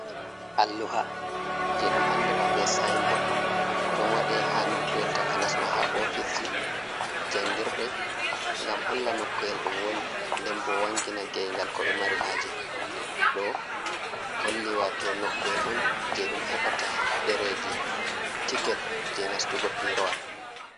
Alluha je ɗum andira be sinbod ɗon waɗe ha nokkuwel takanas ma ha ofisji, jangirde, ngam holla nokku’el ɗum woni, nden bo wangina geygal ko ɓe mari haje ɗo holli wato nokku'el on je ɗum heɓata ɗereji tiket je nastugo pi rowal